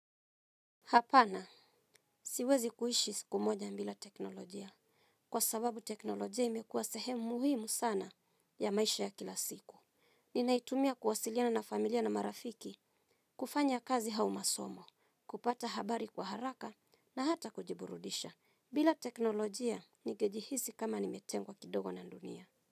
Hapana siwezi kuishi siku moja ibila teknolojia kwa sababu teknolojia imekuwa sehemu muhimu sana ya maisha ya kila siku. Ninaitumia kuwasiliana na familia na marafiki kufanya kazi au masomo, kupata habari kwa haraka na hata kujiburudisha. Bila teknolojia ningejihisi kama nimetengwa kidogo na dunia.